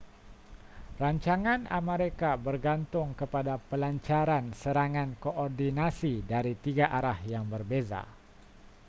rancangan amerika bergantung kepada pelancaran serangan koordinasi dari tiga arah yang berbeza